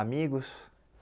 Amigos?